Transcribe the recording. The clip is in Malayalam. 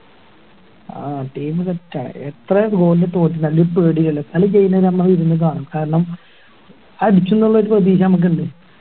ആഹ് team set ആ എത്ര ഓടി തോറ്റാലും പേടിയില്ല കളി ചെയ്യുന്ന നമ്മള് ഇരുന്ന് കാണും കാരണം അടിക്കുംന്നൊരു പ്രതീക്ഷ നമുക്ക് ഇണ്ട്